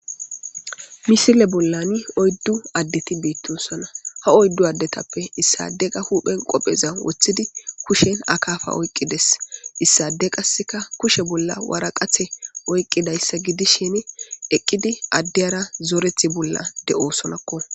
misile bollani oyddu addeti biittunsona ha oyddu addetappe issade qa huuphen qopheza woththidi kushen akaafa oyqqides issade qasseka kushe bolla wara qathe oyqqidayssa gidishini eqqidi addeyara zorethi bolla de7osonakko